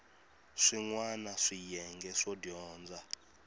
swin wana swiyenge swo dyondza